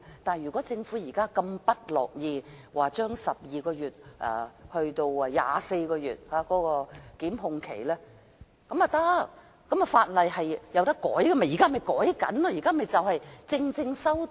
但是，如果政府如此不樂意將檢控期限由12個月延長至24個月，也不要緊，法例是可以修訂的，我們現在便正要作出修訂。